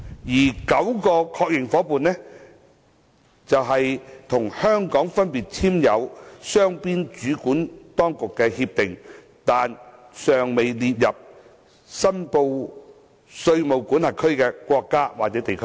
該9個確認夥伴則是與香港分別簽訂雙邊主管當局協定，但尚待列入申報稅務管轄區名單的國家或地區。